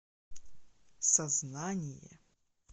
сознание